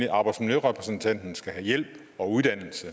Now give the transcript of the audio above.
at arbejdsmiljørepræsentanten skal have hjælp og uddannelse